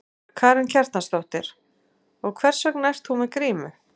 Karen Kjartansdóttir: Og hvers vegna ert þú með grímu?